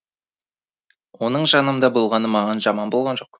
оның жанымда болғаны маған жаман болған жоқ